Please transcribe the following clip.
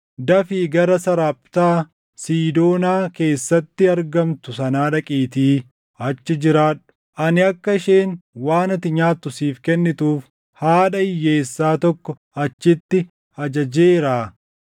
“Dafii gara Saraaphtaa Siidoonaa keessatti argamtu sanaa dhaqiitii achi jiraadhu. Ani akka isheen waan ati nyaattu siif kennituuf haadha hiyyeessaa tokko achitti ajajeeraa.”